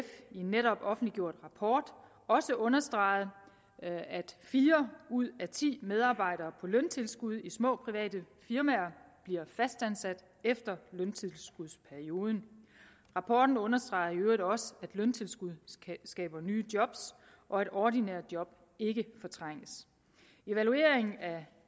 netop offentliggjort rapport også understreget at fire ud af ti medarbejdere på løntilskud i små private firmaer bliver fastansat efter løntilskudsperioden rapporten understreger i øvrigt også at løntilskud skaber nye job og at ordinære job ikke fortrænges evalueringen af